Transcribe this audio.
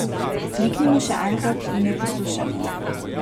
Kliknimo še enkrat in jo poslušajmo.